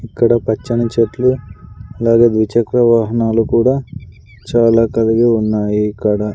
ఇక్కడ పచ్చని చెట్లు అలాగే ద్విచక్రవాహనాలు కూడా చాలా కలిగి ఉన్నాయి ఇక్కడ.